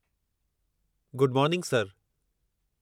Good morning sir.